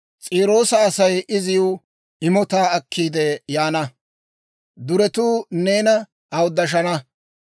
S'iroosa Asay iziw imotaa akkiide yaana; duretuu neena awuddashana.